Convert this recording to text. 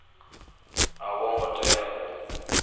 a vho ngo tea u